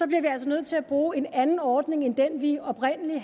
vi altså nødt til at bruge en anden ordning end den vi oprindelig